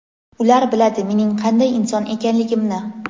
Ular biladi mening qanday inson ekanligimni.